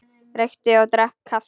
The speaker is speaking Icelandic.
Reykti og drakk kaffi.